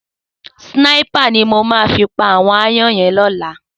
Sìnáipá ni mó má fi pá áwòn àáyàn yèn lòlá